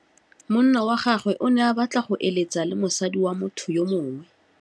Monna wa gagwe o ne a batla go êlêtsa le mosadi wa motho yo mongwe.